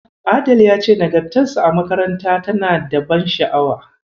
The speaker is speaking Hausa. Adell ya ce nagartarsa a makaranta tana da ban sha'awa.